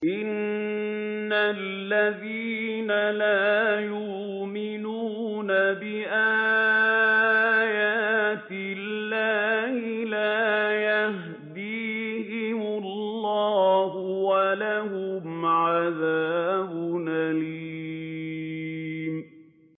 إِنَّ الَّذِينَ لَا يُؤْمِنُونَ بِآيَاتِ اللَّهِ لَا يَهْدِيهِمُ اللَّهُ وَلَهُمْ عَذَابٌ أَلِيمٌ